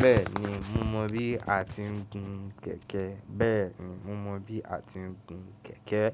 Bẹ́ẹ̀ni, mo mọ bí a ti ń gun kẹ̀kẹ́. Bẹ́ẹ̀ni, mo mọ bí a ti ń gun kẹ̀kẹ́.